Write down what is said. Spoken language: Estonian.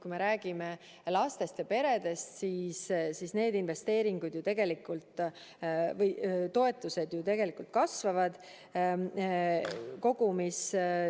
Kui me räägime lastest ja peredest, siis need toetused ju tegelikult kasvavad.